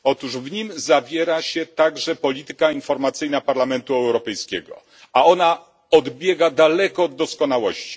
Otóż w nim zawiera się także polityka informacyjna Parlamentu Europejskiego, a ona odbiega znacznie od doskonałości.